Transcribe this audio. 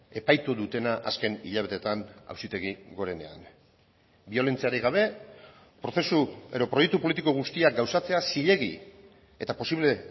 epaitu dutena azken hilabeteetan auzitegi gorenean biolentziarik gabe prozesu edo proiektu politiko guztiak gauzatzea zilegi eta posible